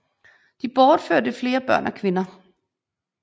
De bortførte flere kvinder og børn